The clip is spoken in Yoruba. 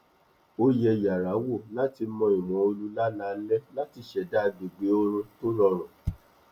ó yẹ yàrá wò láti mo ìwọn oorú lálaálẹ láti ṣèdá agbègbè oorun tó rọrùn